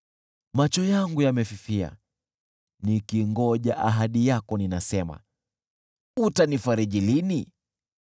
Macho yangu yamefifia, nikingoja ahadi yako; ninasema, “Utanifajiri lini?”